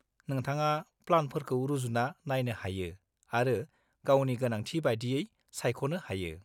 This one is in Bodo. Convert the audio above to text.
-नोंथाङा प्लानफोरखौ रुजुना नायनो हायो आरो गावनि गोनांथि बादियै सायख'नो हायो।